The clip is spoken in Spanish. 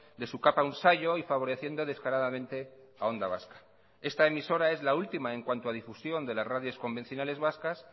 de su capa un sayo y favoreciendo descaradamente a onda vasca esta emisora es la última en cuanto a difusión de las radios convencionales vascas